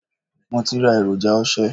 Mo ti ra èròjà ose.